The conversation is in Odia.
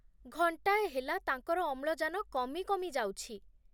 ଘଣ୍ଟାଏ ହେଲା ତାଙ୍କର ଅମ୍ଳଜାନ କମି କମି ଯାଉଛି।